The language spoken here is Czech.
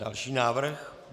Další návrh.